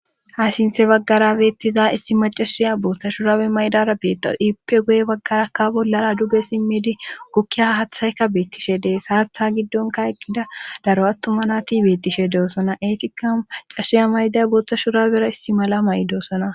ha sinthe baggara beettiza issi macashiya booththa shuraawe maydara beetawo iippe goye baggarakka bollara duge simmidi gokkiya hathaykka beettishe dees haatha giddonka eqqida daro attuma na tibettishe deosona eetikka cashshiya mayda boottha shuraera isti mala maydosona